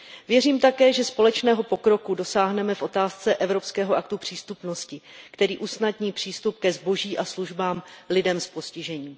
Věřím také, že společného pokroku dosáhneme v otázce Evropského aktu přístupnosti, který usnadní přístup ke zboží a službám lidem s postižením.